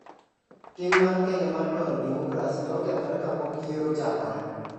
Tim mar Kenya mar dwaro demokrasi ne okethore kapok yiero ochakore.